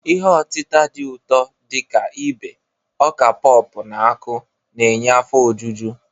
Ihe otita dị ụtọ dị ka ibe, oka popu na akụ na-enye afọ ojuju.